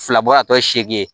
Fila bɔ a tɔ seegin